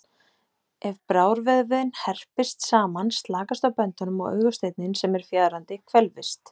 Ef brárvöðvinn herpist saman slakast á böndunum og augasteinninn sem er fjaðrandi, hvelfist.